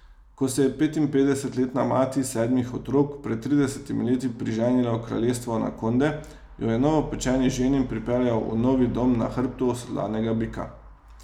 Ko se je petinpetdesetletna mati sedmih otrok pred tridesetimi leti priženila v kraljestvo anakonde, jo je novopečeni ženin pripeljal v novi dom na hrbtu osedlanega bika.